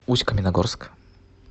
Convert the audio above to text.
усть каменогорск